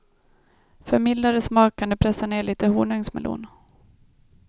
För mildare smak kan du pressa ned lite honungsmelon.